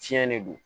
Tiɲɛ de don